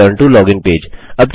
return to login page